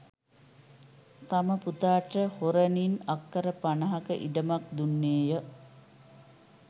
තම පුතාට හොරණින් අක්‌කර පනහක ඉඩමක්‌ දුන්නේය